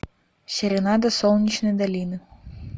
серенада солнечной долины